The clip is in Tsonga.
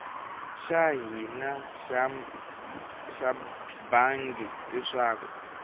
xa hina xa bangi leswaku